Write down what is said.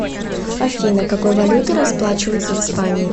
афина какой валютой расплачиваются в испании